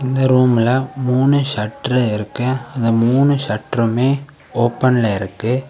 இந்த ரூம்ல மூணு ஷட்டர் இருக்கு அந்த மூணு ஷட்டருமே ஓபன்ல இருக்கு.